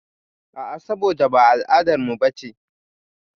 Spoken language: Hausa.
A'a, saboda ba al'adarmu bace.